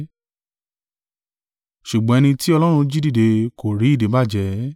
Ṣùgbọ́n ẹni tí Ọlọ́run jí dìde kò rí ìdíbàjẹ́.